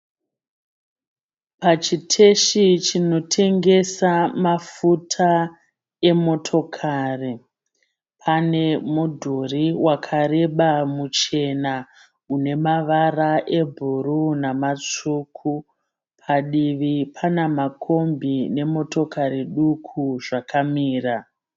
Pachiteshi chinotengesa mafuta emotokari. Pane mudhuri wakareba muchena une mavara ebhuruu nematsvuku. Padivi pane kombi nemotokari duku zvakamira.